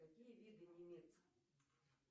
какие виды